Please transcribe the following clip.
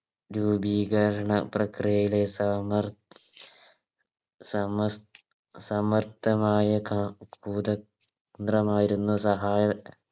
രൂപീകരണ പ്രക്രിയയുടെ സമർ സമർ സമർത്ഥമായ ക മായിരുന്നു സഹായ